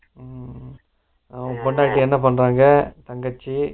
ஊம் உங்க பொண்டாட்டி என்ன பண்றாங்க தங்கச்சி